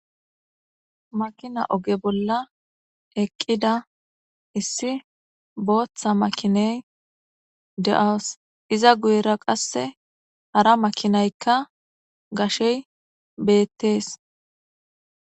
Makina oge bolla eqqida issi booththa makiney de'aos iza guyera qasse hara makinaykka gashey beettees.